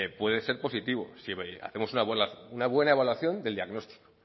puede ser positivo si hacemos una buena evaluación del diagnóstico